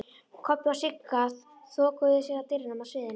Kobbi og Sigga þokuðu sér að dyrunum að sviðinu.